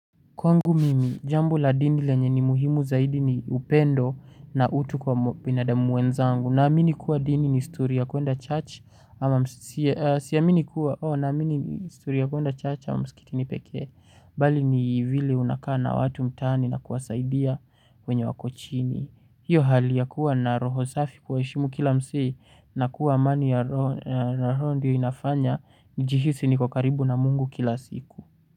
Kwangu mimi, jambo la dini lenye ni muhimu zaidi ni upendo na utu kwa binadamu wenzangu. Naamini kuwa dini ni histori ya kuenda church ama msikitini pekee. Bali ni vile unakaa na watu mtaani na kuwasaidia wenye wako chini. Hiyo hali ya kuwa na roho safi kuwaheshimu kila msee na kuwa amani ya roho ndiyo inafanya. Njihisi niko karibu na mungu kila siku.